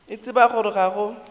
a tseba gore ga go